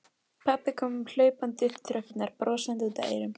Vorum við raunverulegir og elskandi foreldrar?